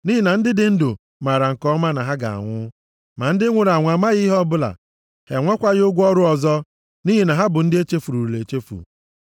Nʼihi na ndị dị ndụ maara nke ọma na ha ga-anwụ, ma ndị nwụrụ anwụ amaghị ihe ọbụla; ha enwekwaghị ụgwọ ọrụ ọzọ, nʼihi na ha bụ ndị echefurula echefu.